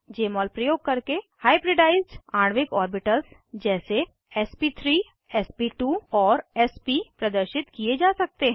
जमोल प्रयोग करके हाइब्रिडाइज्ड आणविक ऑर्बिटल्स जैसे एसपी3 एसपी2 और एसपी प्रदर्शित किये जा सकते हैं